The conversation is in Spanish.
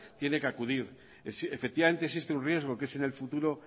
tiene que acudir efectivamente existe un riesgo que es en el futuro